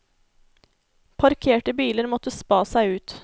Parkerte biler måtte spa seg ut.